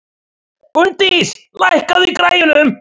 Gunndís, lækkaðu í græjunum.